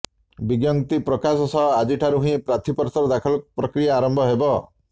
ବିଜ୍ଞପ୍ତି ପ୍ରକାଶ ସହ ଆଜିଠାରୁ ହିଁ ପ୍ରାର୍ଥିପତ୍ର ଦାଖଲ ପ୍ରକ୍ରିୟା ଆରମ୍ଭ ହେବ